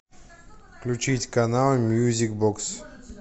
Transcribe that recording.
включить канал мьюзик бокс